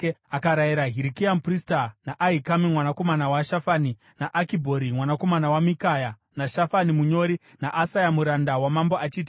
Akarayira Hirikia muprista, naAhikami mwanakomana waShafani, naAkibhori mwanakomana waMikaya, naShafani munyori, naAsaya muranda wamambo achiti,